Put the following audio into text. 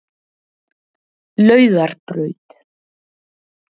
Laugarbraut